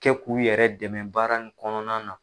Kɛ k'u yɛrɛ dɛmɛ baara nin kɔnɔna na